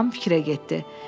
Yad adam fikrə getdi.